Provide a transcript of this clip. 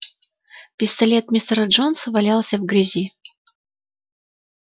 пистолет мистера джонса валялся в грязи